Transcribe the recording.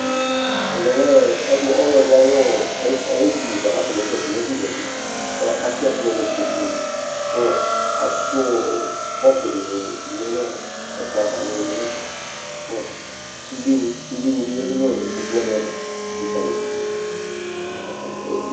ɛvɛ ɔ, ɔdi, ɔlɔdi ayi edini bʋa ku afɔ ne zati, ɛfu zati, ku atɛ ɛkplɔ nu ikpoku ni ku atu ɔ, kɔpu dini lɛ nɔ ɛkplɔ ava nili nɛfɛ kɔ sude ni, sude ni bi yadu nɔ ikpoku wʋani ava likalidu